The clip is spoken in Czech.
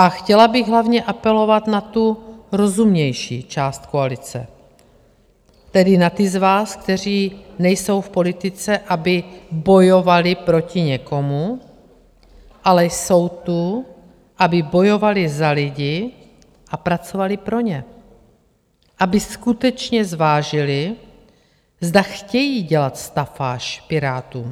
A chtěla bych hlavně apelovat na tu rozumnější část koalice, tedy na ty z vás, kteří nejsou v politice, aby bojovali proti někomu, ale jsou tu, aby bojovali za lidi a pracovali pro ně, aby skutečně zvážili, zda chtějí dělat stafáž Pirátům.